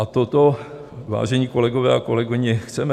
A toto, vážení kolegové a kolegyně, chceme?